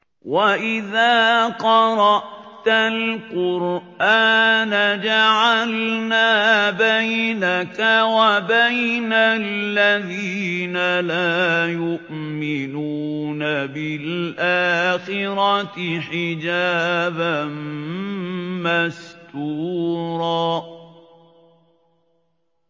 وَإِذَا قَرَأْتَ الْقُرْآنَ جَعَلْنَا بَيْنَكَ وَبَيْنَ الَّذِينَ لَا يُؤْمِنُونَ بِالْآخِرَةِ حِجَابًا مَّسْتُورًا